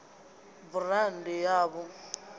burandi ya v o a